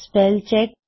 spell check